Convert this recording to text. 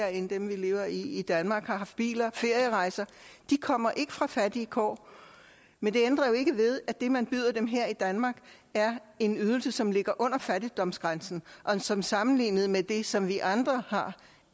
end dem vi lever i i danmark og har biler og ferierejser de kommer ikke fra fattige kår men det ændrer jo ikke ved at det man byder dem her i danmark er en ydelse som ligger under fattigdomsgrænsen og som sammenlignet med det som vi andre har